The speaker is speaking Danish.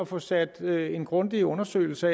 få sat en grundig undersøgelse